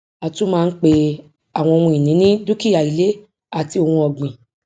a tún máa ń pe àwọn ohun ìní ní dúkìá ilé àti ohun ọgbìn